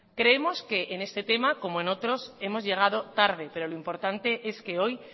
creemos que en este tema como en otros hemos llegado tarde pero lo importante es quehoy